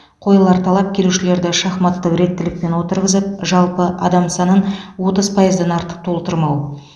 қойылар талап келушілерді шахматтық реттілікпен отырғызып жалпы адам санын отыз пайыздан артық толтырмау